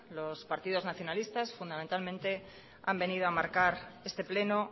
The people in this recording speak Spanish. los partidos nacionalistas fundamentalmente han venido a marcar este pleno